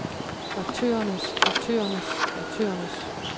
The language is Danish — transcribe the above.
aktørernes aktørernes aktørernes